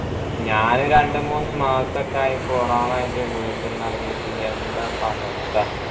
ഞാനും രണ്ട് മൂന്ന് മാസൊക്കായി corona ആയിട്ട് വീട്ടീന്നിറങ്ങീട്ട് എന്താ ഇപ്പൊ അവസ്ഥ